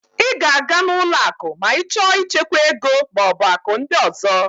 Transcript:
Ị ga-aga n'ụlọ akụ ma ị chọọ ichekwa ego maọbụ akụ ndị ọzọ